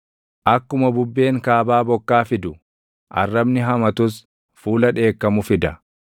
Akkuma bubbeen kaabaa bokkaa fidu, arrabni hamatus fuula dheekkamu fida.